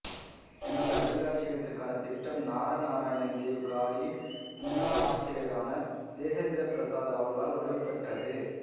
இந்த அருங்காட்சியகத்திற்கான திட்டம் நாரநாராயண் தேவ் காடியின் முன்னாள் ஆச்சார்யரான தேஜேந்திரபிரசாத் அவர்களால் வடிவம் பெற்றது